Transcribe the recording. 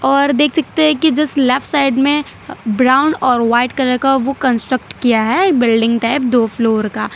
और देख सकते हैं कि जिस लेफ्ट साइड में ब्राउन और वाइट कलर का वो कंस्ट्रक्ट किया है बिल्डिंग टाइप दो फ्लोर का --